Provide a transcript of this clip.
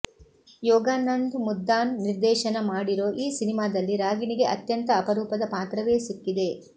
ಯೋಗಾನಂದ್ ಮುದ್ದಾನ್ ನಿರ್ದೇಶನ ಮಾಡಿರೋ ಈ ಸಿನಿಮಾದಲ್ಲಿ ರಾಗಿಣಿಗೆ ಅತ್ಯಂತ ಅಪರೂಪದ ಪಾತ್ರವೇ ಸಿಕ್ಕಿದೆ